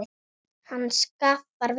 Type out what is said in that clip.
Hann skaffar vel.